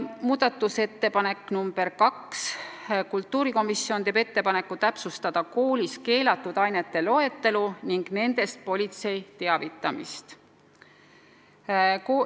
Muudatusettepanek nr 2: kultuurikomisjon teeb ettepaneku täpsustada koolis keelatud ainete loetelu ning nendest politsei teavitamist.